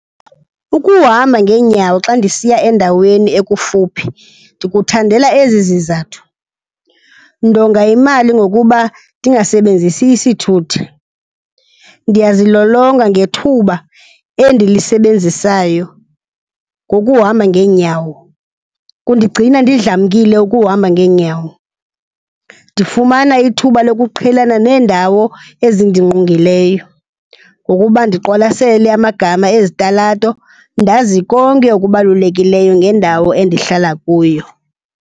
Ukuhamba ngeenyawo xa ndisiya endaweni ekufuphi ndikuthandela ezi zizathu. Ndonga imali ngokuba ndingasebenzisi isithuthi, ndiyazilolonga ngethuba endilisebenzisayo ngokuhamba ngeenyawo, kundigcina ndidlamkile ukuhamba ngeenyawo. Ndifumana ithuba lokuqhelana neendawo ezindingqongileyo ngokuba ndiqwalasele amagama ezitalato ndazi konke okubalulekileyo ngendawo endihlala kuyo.